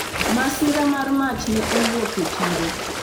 masira mar mach ne owuok e chiro